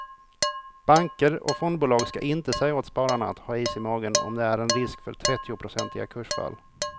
Banker och fondbolag ska inte säga åt spararna att ha is i magen om det är en risk för trettionprocentiga kursfall.